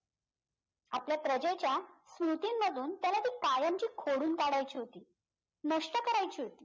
आपल्या प्रजेच्या स्मृतींमधून त्याला ती कायमची खोडून टाकायची होती नष्ट करायची होती